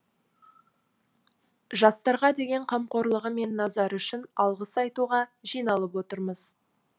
жастарға деген қамқорлығы мен назары үшін алғыс айтуға жиналып отырмыз